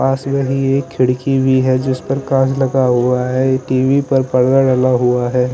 पास में ये खिड़की भी है जिस पर पॉज लगा हुआ है टी_वी पर कलर वलर हुआ है।